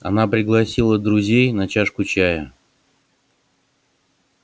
она пригласила друзей на чашку чая